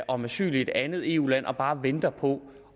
om asyl i et andet eu land og bare venter på